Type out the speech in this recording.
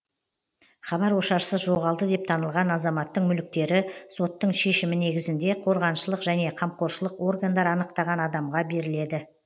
хабар ошарсыз жоғалды деп танылған азаматтың мүліктері соттың шешімі негізінде қорғаншылық және қамқоршылық органдар анықтаған адамға беріледі